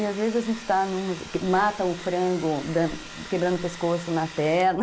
E às vezes a gente está em uma, mata o frango quebrando o pescoço na perna.